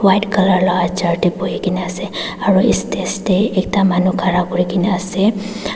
white Colour la chair tae buhikae na asearo estage tae ekta manu khara kurikae na ase.